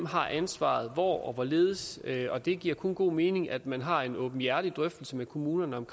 har ansvaret hvor og hvorledes og det giver kun god mening at man har en åbenhjertig drøftelse med kommunerne om